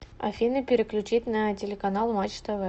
афина переключить на телеканал матч тв